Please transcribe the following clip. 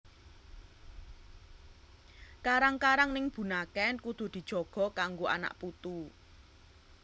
Karang karang ning Bunaken kudu dijaga kanggo anak putu